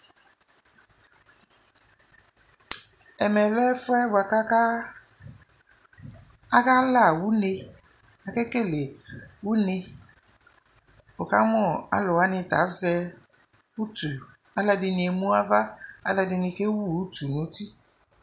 Ɛmɛ lɛ ɛfuɛ boakʋ aka, akala une, akekele une Wukamʋ alʋwani ta azɛ utu Alʋɛdini emʋ ava, alʋɛdini kewu utu nʋ uti